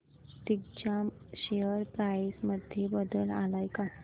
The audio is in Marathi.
दिग्जाम शेअर प्राइस मध्ये बदल आलाय का